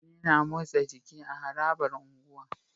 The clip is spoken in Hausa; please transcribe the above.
Mutane na motsa jiki a harabar unguwa